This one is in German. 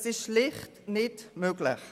Es ist schlicht nicht möglich.